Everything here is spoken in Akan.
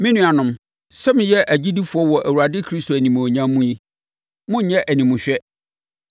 Me nuanom, sɛ moyɛ agyidifoɔ wɔ Awurade Kristo animuonyam mu yi, monnyɛ animhwɛ.